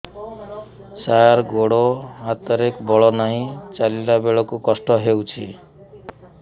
ସାର ଗୋଡୋ ହାତରେ ବଳ ନାହିଁ ଚାଲିଲା ବେଳକୁ କଷ୍ଟ ହେଉଛି